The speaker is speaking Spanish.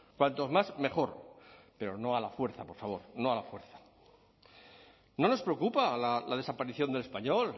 cuantos más mejor pero no a la fuerza por favor no a la fuerza no nos preocupa la desaparición del español